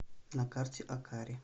на карте акари